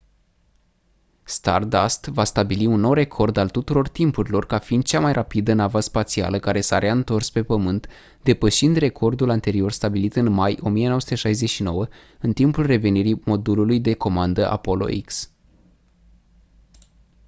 stardust va stabili un nou record al tuturor timpurilor ca fiind cea mai rapidă navă spațială care s-a reîntors pe pământ depășind recordul anterior stabilit în mai 1969 în timpul revenirii modulului de comandă apollo x